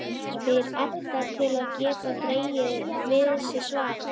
spyr Edda til að geta dregið við sig svarið.